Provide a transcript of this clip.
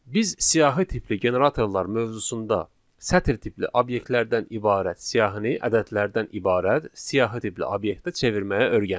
Biz siyahı tipli generatorlar mövzusunda sətr tipli obyektlərdən ibarət siyahını ədədlərdən ibarət siyahı tipli obyektə çevirməyi öyrəndik.